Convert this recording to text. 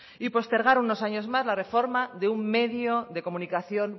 y postergar unos años más la reforma de un medio de comunicación